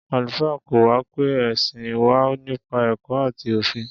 Àlùfáà kọ́ wa pé ẹ̀sìn wà nípa ẹ̀kọ́ àti òfin.